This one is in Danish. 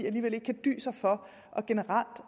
alligevel ikke kan dy sig for generelt